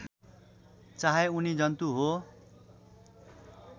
चाहे उनी जन्तु हो